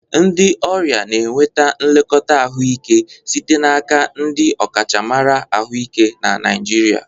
Ndị ọrịa na-enweta nlekọta ahụike site n'aka ndị ọkachamara ahụike na Naijiria.